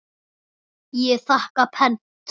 Ég þakka pent.